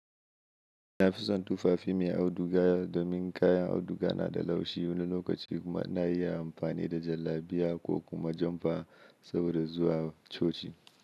Na fison tufafi mai auduga domin kayan auduga na da laushi wani lokaci kuma ina iya amfani da jallabiya ko kuma jamfa saboda zuwa coci.